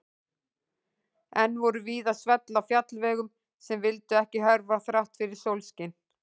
Enn voru víða svell á fjallvegum sem vildu ekki hörfa þrátt fyrir sólskin.